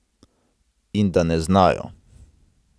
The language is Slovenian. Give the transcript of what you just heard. In da ne znajo.